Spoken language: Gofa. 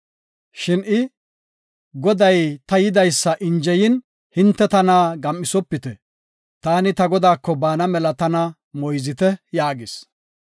Shin I, “Goday ta yidaysa injeyin, hinte tana gam7isopite. Taani ta godaako baana mela tana moyzite” yaagis.